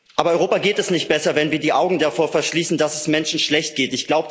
Aber Europa geht es nicht besser, wenn wir die Augen davor verschließen, dass es Menschen schlecht geht.